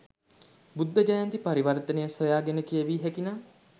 බුද්ධ ජයන්ති පරිවර්ථනය සොයාගෙන කියවිය හැකිනම්